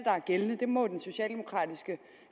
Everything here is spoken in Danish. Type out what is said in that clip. er gældende det må den socialdemokratiske